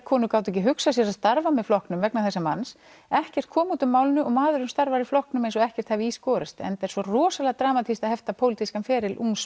konur gátu ekki hugsað sér að starfa með flokknum vegna þessa manns ekkert kom út úr málinu og maðurinn starfar í flokknum eins og ekkert hafi í skorist enda er svo rosalega dramatískt að hefta pólitískan feril ungs